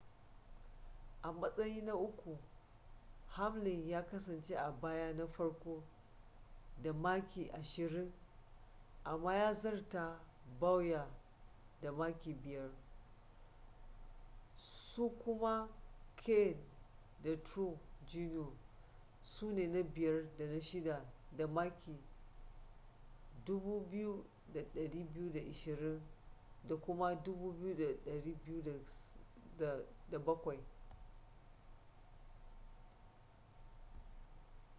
a matsayin na uku hamlin ya kasance a bayan na farko da maki ashirin amma ya zarta bowyer da maki biyar su kuma kahne da truex jr su ne na biyar da na shida da maki 2,220 da kuma 2,207